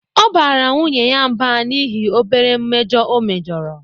Ọ bara nwunye ya mb an'ihi obere mmejọ o mejọrọ